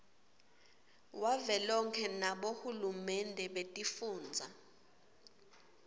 wavelonkhe nabohulumende betifundza